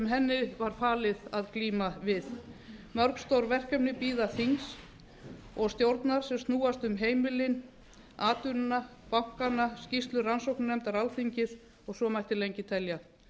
henni var falið að glíma við mörg stór verkefni bíða þings og stjórnar sem snúast um heimilin atvinnuna bankana skýrslu rannsóknarnefndar alþingis og svo mætti lengi telja